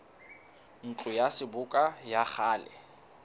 ntlo ya seboka ya kgale